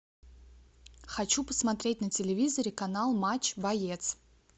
хочу посмотреть на телевизоре канал матч боец